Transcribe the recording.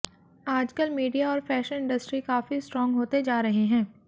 आजकल मीडिया और fashion industry काफी स्ट्रांग होते जा रहे हैं